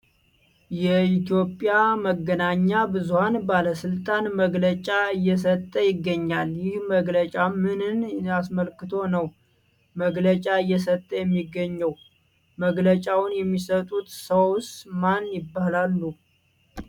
የኢትዮጵያ መገናኛ ብዙሀን ባለስልጣን መግለጫ እየሰጠ ይገኛል ። ይህ መግለጫ ምንን አስመልክቶ ነው መግለጫ እየተሰጠ የሚገኘው ? መግለጫውን የሚሰጡት ሰውስ ማን ይባላሉ ?